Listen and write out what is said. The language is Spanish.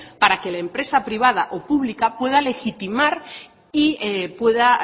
para que la empresa privada o pública pueda legitimar y pueda